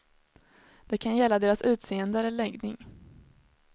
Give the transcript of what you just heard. Det kan gälla deras utseende eller läggning.